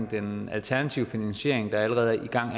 den alternative finansiering der allerede er i gang